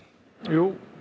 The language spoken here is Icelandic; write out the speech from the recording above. jú